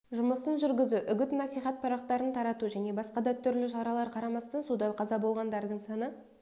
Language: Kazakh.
жұмысын жүргізу үгіт-насихат парақтарын тарату және басқа да түрлі шаралар қарамастан суда қаза болғандардың саны